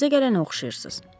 təzə gələnə oxşayırsız.